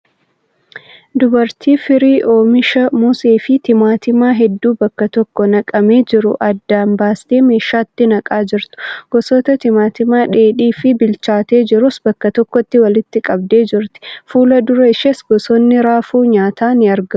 Dubartii firii oomisha mosee fi timaatimaa hedduu bakka tokko naqamee jiru addaan baastee meeshaatti naqaa jirtu. Gosoota timaatimaa dheedhii fi bilchaatee jirus bakka tokkotti walitti qabdee jirti. Fuula dura isheenis gosoonni raafuu nyaataa ni argamu.